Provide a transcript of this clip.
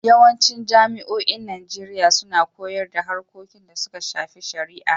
Yawancin jami'oin Najeriya suna koyar da harkokin da suka shafi shari'a.